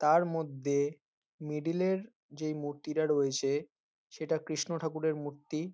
তার মধ্যে মিডিল -এর যে মূর্তিটা রয়েছে সেটা কৃষ্ণঠাকুরের মূর্তি।